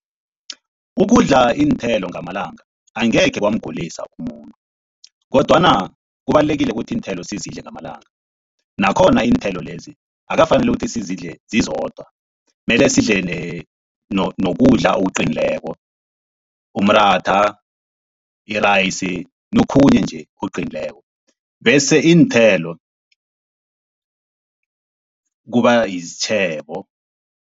Ukudla iinthelo ngamalanga angekhe kwamgulisa umuntu kodwana kubalulekile ukuthi iinthelo sizidle ngamalanga, nakhona iinthelo lezi akukafaneli ukuthi sizidle zizodwa mele sidle nokudla okuqinileko umratha, irayisi nokhunye nje okuqinileko. Bese iinthelo kuba sitjhebo.